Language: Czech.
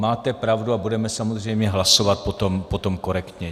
Máte pravdu a budeme samozřejmě hlasovat potom korektně.